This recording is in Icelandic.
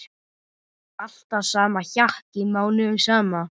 Alltaf sama hjakkið mánuðum saman!